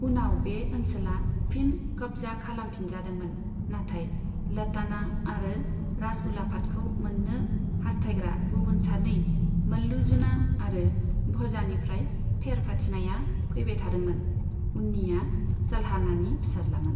उनाव बे ओनसोला फिन खब्जा खालामजाफिनदोंमोन, नाथाय लताना आरो राजउलाफादखौ मोन्नो हासथायग्रा गुबुन सानै, मल्लूजुना आरो भजानिफ्राय फेर फाथिनाया फैबाय थादोंमोन, उन्निया सलहानानि फिसाज्लामोन।